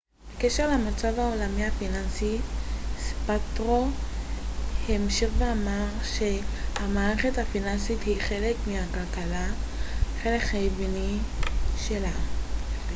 בקשר למצב העולמי הפיננסי זפאטרו המשיך ואמר ש המערכת הפיננסית היא חלק מהכלכלה חלק חיוני שלה